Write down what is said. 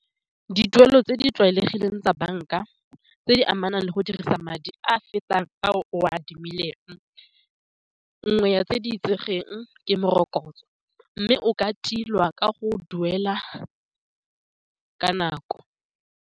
Dituelo tse di tlwaelegileng tsa banka tse di amanang le go dirisa madi a fetang a o a adimileng nngwe ya tse di itsegeng, ke morokotso mme o ka tilwa ka go duela ka nako.